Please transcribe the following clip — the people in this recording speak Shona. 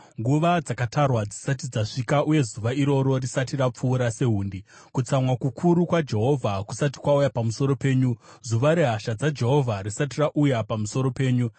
nguva dzakatarwa dzisati dzasvika uye zuva iroro risati rapfuura sehundi, kutsamwa kukuru kwaJehovha kusati kwauya pamusoro penyu, zuva rehasha dzaJehovha risati rauya pamusoro penyu.